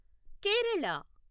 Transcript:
Kerala